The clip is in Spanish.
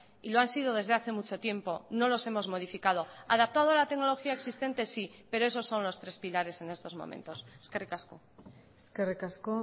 y lo han sido desde hace mucho tiempo no los hemos modificado adaptado a la tecnología existente sí pero eso son los tres pilares en estos momentos eskerrik asko eskerrik asko